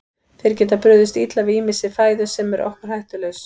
Þeir geta brugðist illa við ýmissi fæðu sem er okkur hættulaus.